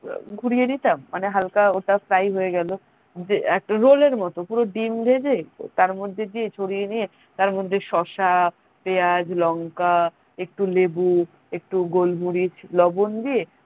ঘুরিয়ে দিতাম মানে হালকা ওটা fry হয়ে গেলো যে একটা roll এর মতো পুরো ডিম ভেজে তার মধ্যে দিয়ে ছড়িয়ে দিয়ে তার মধ্যে শসা পেঁয়াজ লংকা একটু লেবু একটু গোলমরিচ লবন দিয়ে